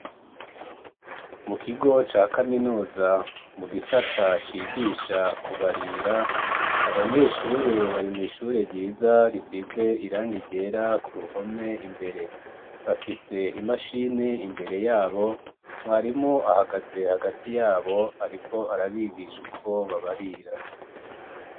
Mu kigo ca kaminuza mu gisata cigisha kubarira abanyeshure bari mw'ishure ryiza risize irangi ryera ku ruhome imbere bafise imashini imbere yabo mwarimu ahagaze hagati yabo ariko arabigisha uko babarira.